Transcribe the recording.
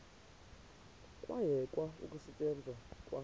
kwayekwa ukusetyenzwa kwa